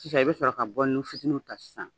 Sisan i bɛ sɔrɔ ka bɔlinin fitininw ta sisan.